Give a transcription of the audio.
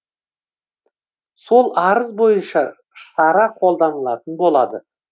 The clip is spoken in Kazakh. сол арыз бойынша шара қолданылатын болады